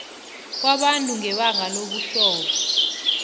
kwabantu ngebanga lobuhlobo